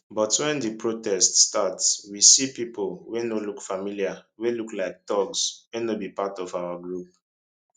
but wen di protest start we see pipo wey no look familiar wey look like thugs wey no be part of our group